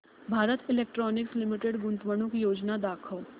Bharat Electronics Limited गुंतवणूक योजना दाखव